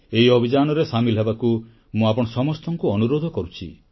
ଏହି ଅଭିଯାନରେ ସାମିଲ ହେବାକୁ ମୁଁ ଆପଣ ସମସ୍ତଙ୍କୁ ଅନୁରୋଧ କରୁଛି